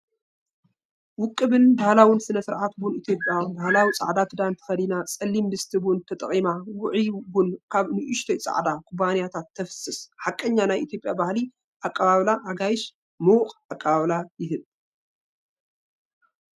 ውቁብን ባህላውን ስነ-ስርዓት ቡን ኢትዮጵያ። ባህላዊ ጻዕዳ ክዳን ተኸዲና፡ ጸሊም ድስቲ ቡን ተጠቒማ፡ ውዑይ ቡን ኣብ ንኣሽቱ ጻዕዳ ኩባያታት ትፍስስ። ሓቀኛ ናይ ኢትዮጵያ ባህሊ፡ ኣቀባብላ ኣጋይሽ፡ ምዉቕ ኣቀባብላ ይህብ።